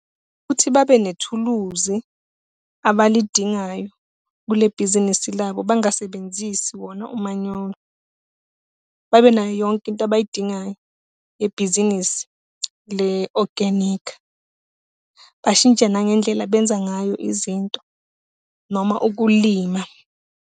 Ukuthi babe nethuluzi abalidingayo kule bhizinisi labo, bangasebenzisi wona umanyolo. Babenayo yonke into abayidingayo yebhizinisi le-organic. Bashintshe nangendlela abenza ngayo izinto noma ukulima.